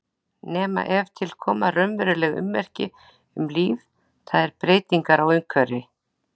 Nema ef til koma raunveruleg ummerki um líf, það er breytingar á umhverfi.